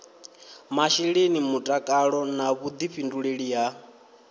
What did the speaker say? masheleni mutakalo na vhuḓifhinduleli ha